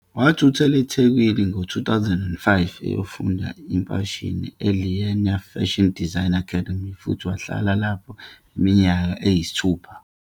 Wathuthela eThekwini ngo-2005 eyofundela imfashini eLinea Fashion Design Academy futhi wahlala lapho iminyaka eyisithupha.